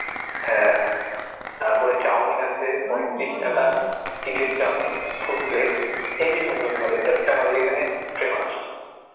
হ্যাঁ, তারপরে চাওমিন আছে পঁয়ত্রিশ টাকার, chicken chowmein full plate heavy সুন্দর করে ওটা হচ্ছে আমাদের এখানে famous